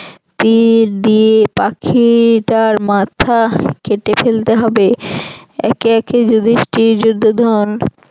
তীর দিয়ে পাখিটার মাথা কেটে ফেলতে হবে একে একে যুধিষ্ঠির দুর্যোধন